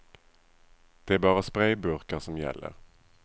Det är bara sprayburkar som gäller.